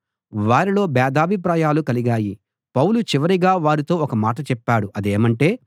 వారిలో భేదాభిప్రాయాలు కలిగాయి పౌలు చివరిగా వారితో ఒక మాట చెప్పాడు అదేమంటే